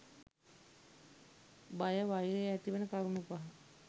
බය වෛර ඇතිවන කරුණු පහ